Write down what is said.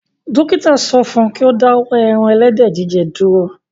Dókítà sọ fún un kí ó dáwọ́ ẹran ẹlẹ́dẹ̀ jíjẹ dúró